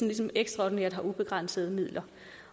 ligesom ekstraordinært har ubegrænsede midler